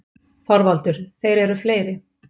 ÞORVALDUR: Þeir eru fleiri.